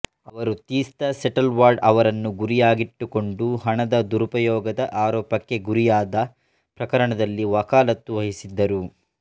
ಅವರು ತೀಸ್ತಾ ಸೆಟಲ್ವಾಡ್ ಅವರನ್ನು ಗುರಿಯಾಗಿಟ್ಟುಕೊಂಡು ಹಣದ ದುರುಪಯೋಗದ ಆರೋಪಕ್ಕೆ ಗುರಿಯಾದ ಪ್ರಕರಣದಲ್ಲಿ ವಕಾಲತ್ತು ವಹಿಸಿದ್ದರು